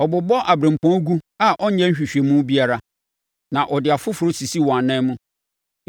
Ɔbobɔ aberempɔn gu a ɔnyɛ nhwehwɛmu biara, na ɔde afoforɔ sisi wɔn ananmu.